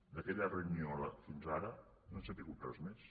d’aquella reunió fins ara no n’hem sabut res més